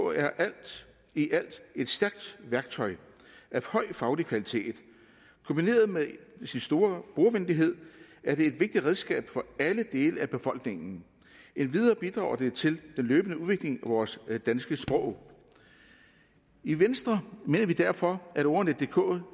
er alt i alt et stærkt værktøj af høj faglig kvalitet kombineret med sin store brugervenlighed er det et vigtigt redskab for alle dele af befolkningen endvidere bidrager det til den løbende udvikling af vores danske sprog i venstre mener vi derfor at ordnetdk